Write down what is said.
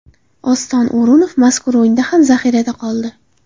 Oston O‘runov mazkur o‘yinda ham zaxirada qoldi.